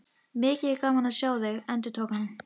Mikið er gaman að sjá þig, endurtók hann.